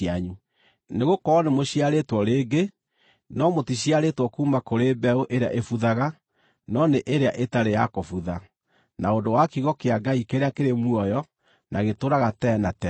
Nĩgũkorwo nĩmũciarĩtwo rĩngĩ, no mũticiarĩtwo kuuma kũrĩ mbeũ ĩrĩa ĩbuthaga, no nĩ ĩrĩa ĩtarĩ ya kũbutha, na ũndũ wa kiugo kĩa Ngai kĩrĩa kĩrĩ muoyo na gĩtũũraga tene na tene.